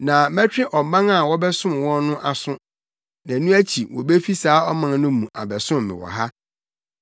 Na mɛtwe ɔman a wɔbɛsom wɔn no aso; na ɛno akyi wobefi saa ɔman no mu abɛsom me wɔ ha.’